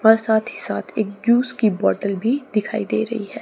और साथ ही साथ एक जूस की बॉटल भी दिखाई दे रही है।